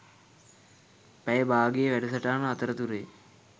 පැය බාගේ වැඩසටහන අතරතුරේ.